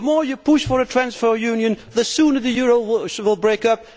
The more you push for a transfer union, the sooner the euro will break up.